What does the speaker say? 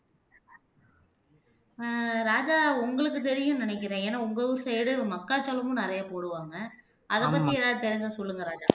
ஆஹ் ராஜா உங்களுக்கு தெரியும்ன்னு நினைக்கிறேன் ஏன்னா உங்க ஊரு side மக்காச்சோளமும் நிறைய போடுவாங்க அதைப் பத்தி ஏதாவது தெரிஞ்சா சொல்லுங்க ராஜா